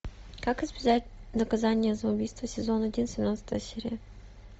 как избежать наказание за убийство сезон один семнадцатая серия